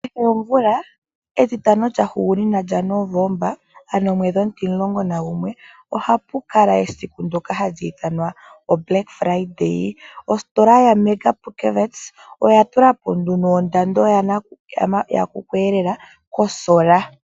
Kehe omvula etitano lyahugunina lyaNovomba ano omwedhi omutimlong9 nagumwe ohaku kala esiku lyEtitano eluudhe. Ositola yoPupkewitz oya tula po nduno ondando yakuku eelela kolusheno lwoketango.